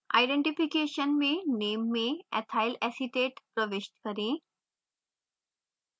identification में name में ethyl acetate प्रविष्ट करें